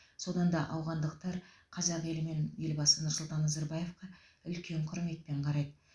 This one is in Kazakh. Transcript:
содан да ауғандықтар қазақ елі мен елбасы нұрсұлтан назарбаевқа үлкен құрметпен қарайды